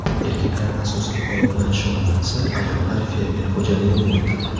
Erkaklar asosan ov bilan shug‘ullansa, ayollar fermer xo‘jaligini yuritadi.